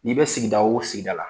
N'i bɛ sigida o sigida la